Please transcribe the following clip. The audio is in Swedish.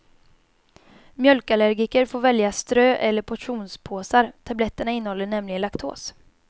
Mjölkallergiker får välja strö eller portionspåsar, tabletterna innehåller nämligen laktos.